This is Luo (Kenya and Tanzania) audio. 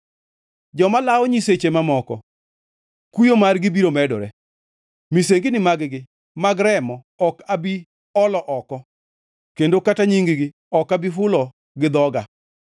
Joma lawo nyiseche mamoko kuyo margi biro medore. Misengini magi mag remo ok abi olo oko kendo kata nying-gi ok abi hulo gi dhoga.